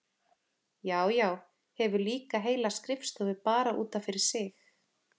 Já, já, hefur líka heila skrifstofu bara út af fyrir sig!